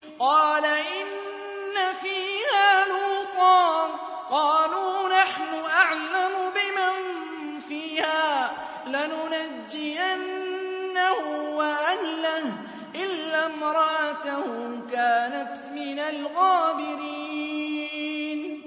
قَالَ إِنَّ فِيهَا لُوطًا ۚ قَالُوا نَحْنُ أَعْلَمُ بِمَن فِيهَا ۖ لَنُنَجِّيَنَّهُ وَأَهْلَهُ إِلَّا امْرَأَتَهُ كَانَتْ مِنَ الْغَابِرِينَ